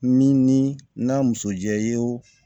Min ni n'a muso jɛ ye o